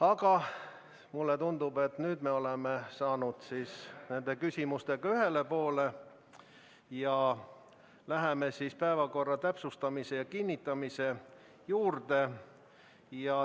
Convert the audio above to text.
Aga mulle tundub, et nüüd me oleme saanud nende küsimustega ühele poole ja läheme päevakorra kinnitamise juurde.